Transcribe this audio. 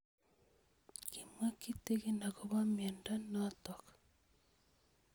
Kimwae kitig'in akopo miondo notok